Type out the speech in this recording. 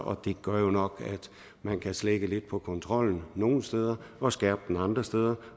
og det gør jo nok at man kan slække lidt på kontrollen nogle steder og skærpe den andre steder